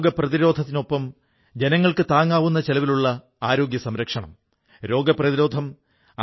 പ്രതിരോധ മാർഗങ്ങൾക്കൊപ്പം താങ്ങാനാവുന്ന ചെലവിലുള്ള ആരോഗ്യ സംരക്ഷണത്തിനും പ്രാധാന്യം കൊടുക്കുകയാണ്